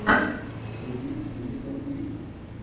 вруби кристен уиг